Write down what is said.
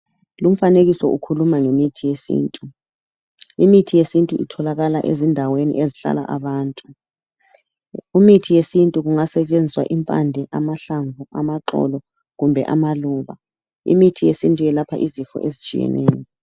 Lumfanekiso ukhuluma ngemithi yesintu. Imithi yesintu itholakala ezindaweni ezihlala abantu. Imithi yesintu kungasetshenziswa impande ,amahlamvu ,amaxolo kumbe amaluba. Imithi yesintu yelapha izifo ezitshiyeneyo .